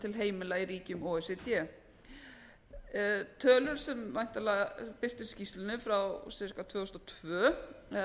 til heimila í ríkjum o e c d tölur sem væntanlega birtast í skýrslunni frá tvö þúsund og tvö